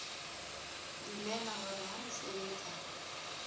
dumela hore ha re sebetsa